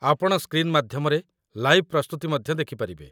ଆପଣ ସ୍କ୍ରିନ୍ ମାଧ୍ୟମରେ ଲାଇଭ୍ ପ୍ରସ୍ତୁତି ମଧ୍ୟ ଦେଖିପାରିବେ।